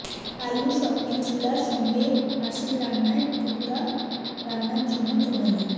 আলু সঙ্গে চুলা সঙ্গে হাঁসের রান্নার টুকরা রান্না জন্য প্রণালী